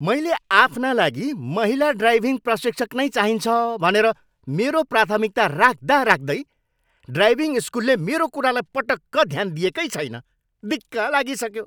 मैले आफ्ना लागि महिला ड्राइभिङ प्रशिक्षक नै चाहिन्छ भनेर मेरो प्राथमिकता राख्दाराख्दै ड्राइभिङ स्कुलले मेरो कुरालाई पटक्क ध्यान दिएकै छैन। दिक्क लागिसक्यो।